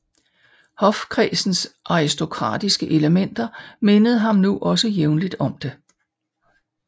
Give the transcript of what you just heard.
Hofkredsens aristokratiske elementer mindede ham nu også jævnligt om det